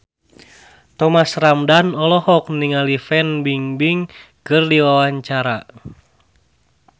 Thomas Ramdhan olohok ningali Fan Bingbing keur diwawancara